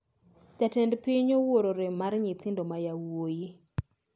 Jatend piny owuoro rem mar nyithindo ma yawoi